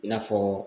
I n'a fɔ